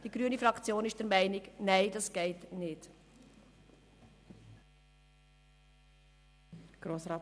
Die grüne Fraktion ist der Meinung, dass dies nicht geht.